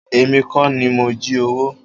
Èmi kọ́ ni mo jí owó.